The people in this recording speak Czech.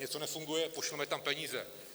Něco nefunguje: pošleme tam peníze.